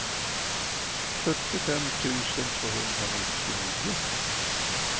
sjuttiofem tusen tvåhundranittionio